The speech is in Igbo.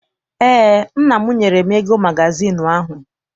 Eé, nna m nyere m ego magazịịnụ ahụ.